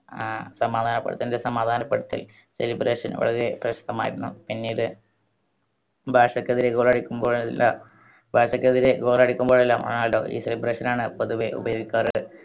ആഹ് സമാധാനപ്പെടുത്തൽ നിസമാധാനപ്പെടുത്തി celebration വളരെ പ്രശ്‌നമായിരുന്നു. പിന്നീട്‌ ബാഴ്സയ്ക്കെതിരെ goal അടിക്കുമ്പോഴെല്ലാം ബാഴ്സയ്ക്കെതിരെ goal അടിക്കുമ്പോഴെല്ലാം റൊണാൾഡോ ഈ celebration ആണ് പൊതുവെ ഉപയോഗിക്കാറ്.